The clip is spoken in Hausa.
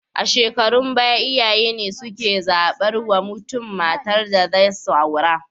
A shukarun baya iyaye ne suke zabar wa mutun matar da zai aura